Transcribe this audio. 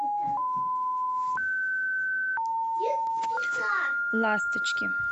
ласточки